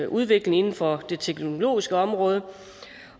udvikling inden for det teknologiske område